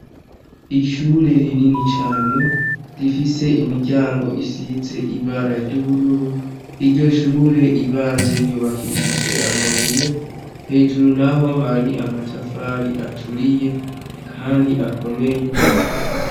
Ishure rinini cane, rifise imiryango isize ibara ryubururu ,iryo Shure ryibanze ryubakishije amabuye hejuru naho hari amatafari aturiye Kandi akomeye.